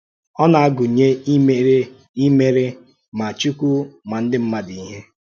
Ọ̀ na-agụnyé ímèrè ímèrè mà Chúkwù mà ndị mmádụ̀ íhè.